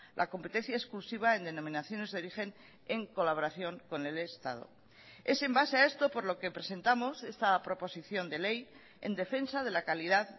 la competencia exclusiva en denominaciones de origen en colaboración con el estado es en base a esto por lo que presentamos esta proposición de ley en defensa de la calidad